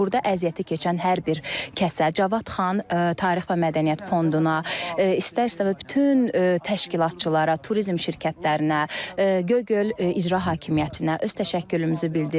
Burda əziyyəti keçən hər bir kəsə, Cavad xan tarix və mədəniyyət fonduna, istər-istəməz bütün təşkilatçılara, turizm şirkətlərinə, Göygöl İcra Hakimiyyətinə öz təşəkkürümüzü bildiririk.